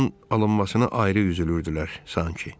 Şuşanın alınmasına ayrı üzülürdülər sanki.